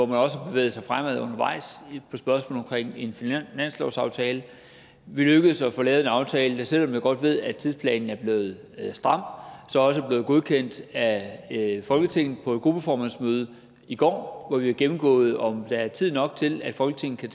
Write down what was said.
man også har bevæget sig fremad undervejs på spørgsmålet omkring en finanslovsaftale vi er lykkedes med at få lavet en aftale selv om jeg godt ved at tidsplanen er blevet stram som også er blevet godkendt af folketinget på et gruppeformandsmøde i går hvor det blev gennemgået om der er tid nok til at folketinget kan